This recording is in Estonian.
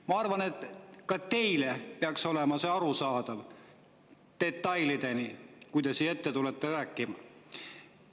Ma arvan, et ka teile peaks see olema detailideni arusaadav, kui te tulete siia ette rääkima.